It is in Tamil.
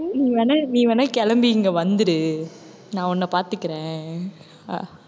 நீ வேணா நீ வேணா கிளம்பி இங்கே வந்துடு நான் உன்னை பார்த்துக்கிறேன். அஹ்